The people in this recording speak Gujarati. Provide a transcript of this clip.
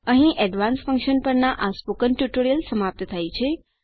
અહીં એડવાન્સ્ડ ફંકશન્સ પરના આ મૌખિક ટ્યુટોરીયલ સમાપ્ત થાય છે